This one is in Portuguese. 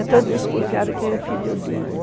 É tão desconfiado que é filho dele.